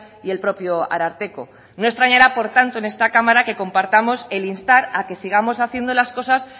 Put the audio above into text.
y el propio ararteko no extrañará por tanto en esta cámara que compartamos el instar a que sigamos haciendo las cosas